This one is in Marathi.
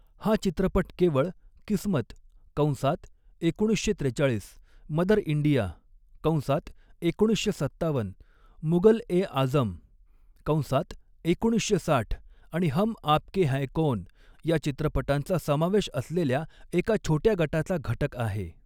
हा चित्रपट केवळ, किस्मत कंसात एकोणीसशे त्रेचाळीस, मदर इंडिया कंसात एकोणीसशे सत्तावन्न, मुगल ए आझम कंसात एकोणीसशे साठ आणि हम आपके हैं कौन, या चित्रपटांचा समावेश असलेल्या एका छोट्या गटाचा घटक आहे.